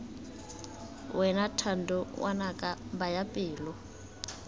wena thando ngwanaka baya pelo